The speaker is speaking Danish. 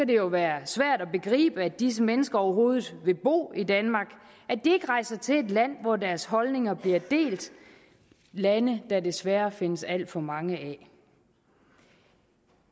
det jo være svært at begribe at disse mennesker overhovedet vil bo i danmark at de ikke rejser til et land hvor deres holdninger bliver delt lande der desværre findes alt for mange af